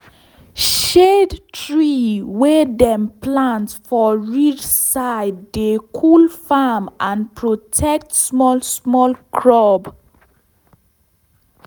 shade tree wey dem plant for ridge side dey cool farm and protect small small crop.